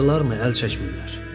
Bağlandılarmı, əl çəkmirlər.